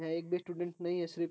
यहाँ एक भी स्टूडेंट नहीं है सिर्फ --